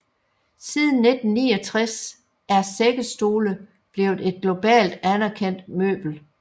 Siden 1969 er sækkestole blevet et globalt anerkendt møbel